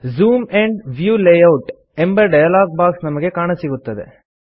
zoom and view layout ಎಂಬ dialog box ನಮಗೆ ಕಾಣಸಿಗುತ್ತದೆ